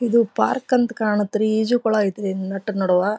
ಇದು ಪಾರ್ಕ್ ಅಂತ ಕಾಣುತ್ತೆ ರೀ ಈಜು ಕೊಳ ಅಯ್ತೆ ಈ ನಟ್ ನಡುವ --